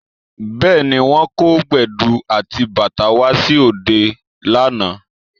Bẹ́ẹ̀ni, wọ́n kó Gbẹ̀du àti bàtá wá sí òde lánàá